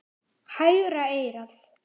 Hægra eyrað.